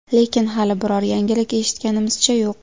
Lekin hali biror yangilik eshitganimizcha yo‘q.